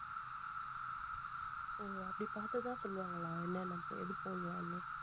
ஓ அப்படி பாத்து தான் சொல்லுவாங்களா என்ன என்னென்ன எது போடலாம்னு